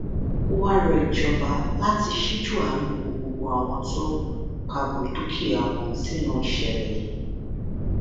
ó wáá rọ ìjọba láti ṣíjú àánú wo gbogbo àwọn tó pabù dúkìá wọn sínú ìṣẹlẹ yìí